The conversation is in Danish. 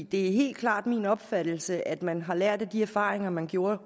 det er helt klart min opfattelse at man har lært af de erfaringer man gjorde